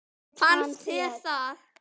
Finnst þér það?